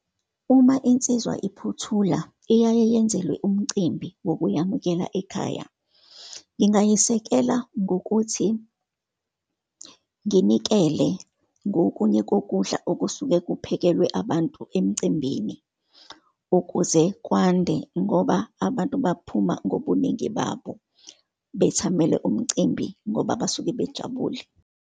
Uma insizwa iphuthula, iyaye yenzelwe umcimbi wokuyamukela ekhaya. Ngingayisekela ngokuthi nginikele ngokunye kokudla okusuke kuphakelwe abantu emcimbini, ukuze kwande ngoba abantu baphuma ngobuningi babo, bethamele umcimbi, ngoba basuke bejabule.